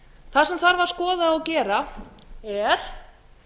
það sem þarf að skoða og gera er